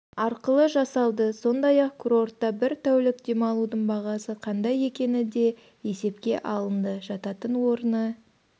арқылы жасалды сондай-ақ курортта бір тәулік демалудың бағасы қандай екені де есепке алынды жататын орны